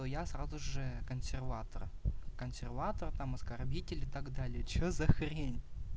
то я сразу же консерватор консерватор там оскорбитель или так далее что за хрень